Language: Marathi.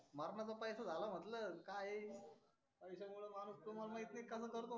मरणाचा पैसा झाला म्हटल काय आहे येऊन पैसा मुळे माणूस तुम्हाला माहिती कस करतो.